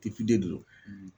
de do